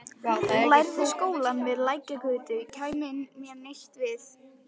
Lærða skólann við Lækjargötu kæmi mér neitt við.